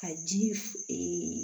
Ka ji f